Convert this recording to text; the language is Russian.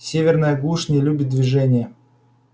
северная глушь не любит движения